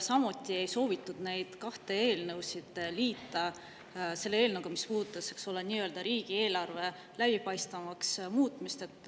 Samuti ei soovitud neid kahte eelnõu liita selle eelnõuga, mis puudutas riigieelarve läbipaistvamaks muutmist.